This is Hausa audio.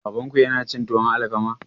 Babanku yana cin tuwon alkama?